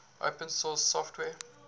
open source software